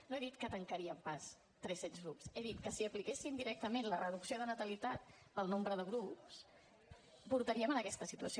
no he dit que tancaríem pas tres cents grups he dit que si apliquéssim directament la reducció de natalitat al nombre de grups portaríem a aquesta situació